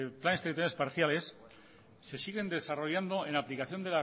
planes territoriales parciales se siguen desarrollando en la aplicación